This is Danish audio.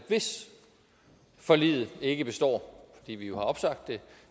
hvis forliget ikke består fordi vi jo har opsagt det